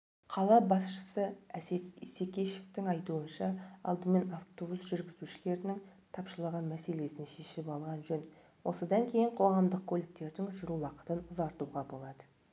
қала басшысы әсет исекешевтің айтуынша алдымен автобус жүргізушілеріның тапшылығы мәселесін шешіп алған жөн осыдан кейін қоғамдық көліктердің жүру уақытын ұзартуға болады